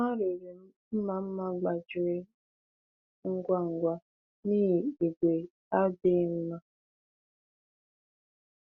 Ha rere m mma mma gbajiri ngwa ngwa n’ihi ígwè adịghị mma.